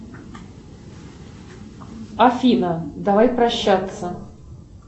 афина давай прощаться